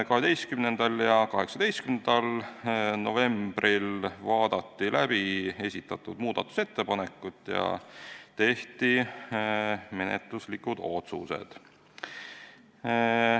12. ja 18. novembril vaadati läbi esitatud muudatusettepanekud ja tehti menetluslikud otsused.